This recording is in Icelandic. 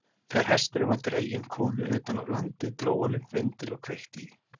Þegar hesturinn var dreginn konu utan af landi, dró hann upp vindil og kveikti í.